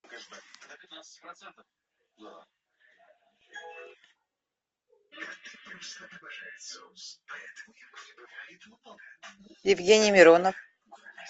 евгений миронов